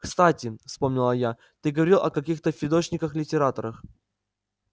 кстати вспомнила я ты говорил о каких-то фидошниках-литераторах